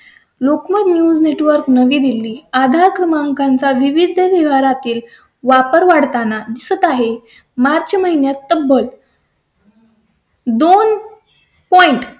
Lokmat news network नवी दिल्ली आधार क्रमांकांचा विविध शहरातील वापर वाढताना दिसत आहे. मार्च महिन्यात तर बघ . दोन point